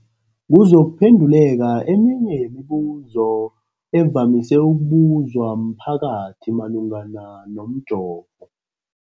kuzokuphe nduleka eminye yemibu zo evamise ukubuzwa mphakathi malungana nomjovo.